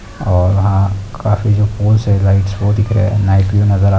और वहाँ काफी जो पोल्स हैं लाइट्स वो दिख रहे हैं नाइट व्यू नजर आ--